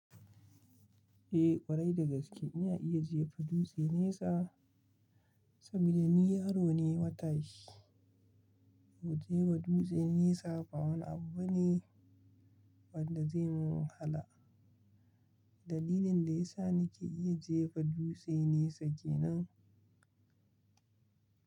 Eh ƙwarai dagaske in iya jefa dutse nesa saboda ni yaro ne matashi. Jefa dutse nesa ba wani abu bane wanda zai mun hala. Dalilin da ya sa nike iya jefa dutse nesa kenan.